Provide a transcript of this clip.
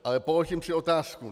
Ale položím si otázku.